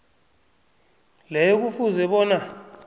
leyo kufuze bona